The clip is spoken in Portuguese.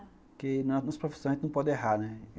Porque na nossa profissão a gente não pode errar, né.